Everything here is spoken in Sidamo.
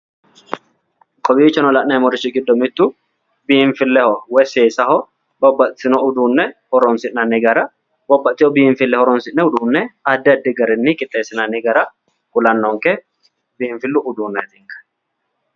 Kowiichono la'neemmorichi giddo mittu biinfilleho woyi seesaho babbaxxitino uduunne horoonsi'nanni gara babbaxxitino biinfille horoonsi'ne uduunne addi addi garinni qixxeessinanni gara kulannonke biinfillu uduunneeti.